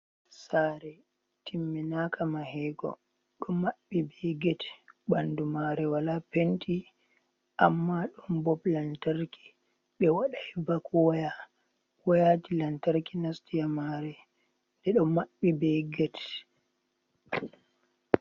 Saare timminaka mahego ɗo maɓɓi be get, bandu mare wala penti amma ɗon bob lantarki, ɓe wadai bak waya, wayaji lantarki nasti haa mare, ɓe ɗo maɓɓi be get.